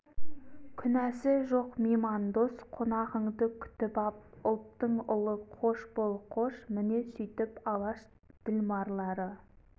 күнәсі жоқ мейман дос қонағыңды күтіп ап ұлттың ұлы қош бол қош міне сөйтіп алаш ділмарлары